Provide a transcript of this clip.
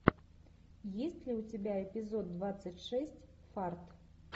есть ли у тебя эпизод двадцать шесть фарт